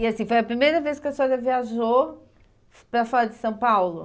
E assim, foi a primeira vez que a senhora viajou para fora de São Paulo?